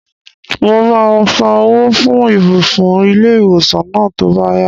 Mo máa san owó fún ibùsùn ilé-ìwòsàn náà tó bá yá